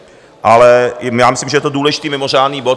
Ale já myslím, že je to důležitý mimořádný bod.